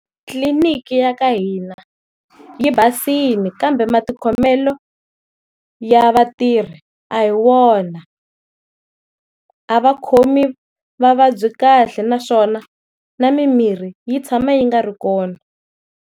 Tliliniki ya ka hina yi basile kambe matikhomelo ya vatirhi a hi wona, a va khomi vavabyi kahle naswona na mimirhi yi tshama yi nga ri kona.